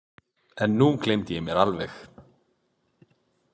En nú gleymdi ég mér alveg.